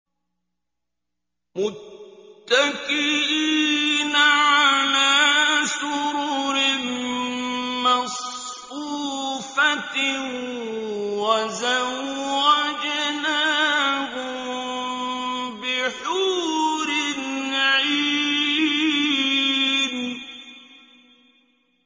مُتَّكِئِينَ عَلَىٰ سُرُرٍ مَّصْفُوفَةٍ ۖ وَزَوَّجْنَاهُم بِحُورٍ عِينٍ